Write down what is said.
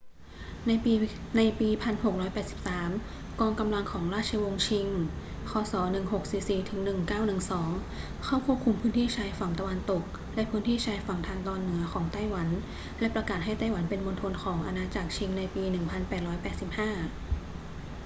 ในปี 1683 กองกำลังของราชวงศ์ชิง ค.ศ. 1644-1912 เข้าควบคุมพื้นที่ชายฝั่งตะวันตกและพื้นที่ชายฝั่งทางตอนเหนือของไต้หวัน และประกาศให้ไต้หวันเป็นมณฑลของอาณาจักรชิงในปี 1885